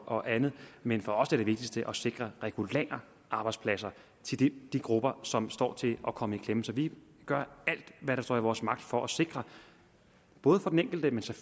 og andet men for os er det vigtigste at sikre regulære arbejdspladser til de grupper som står til at komme i klemme så vi gør alt hvad der står i vores magt for at sikre både for den enkeltes og